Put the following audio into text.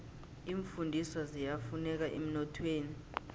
iimfundiswa ziyafuneka emnothweni